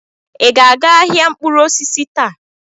Ị ga-aga ahịa mkpụrụ osisi taa?